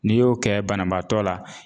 N'i y'o kɛ banabaatɔ la.